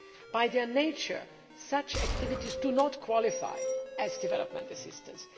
By their nature, such activities do not qualify as development assistance.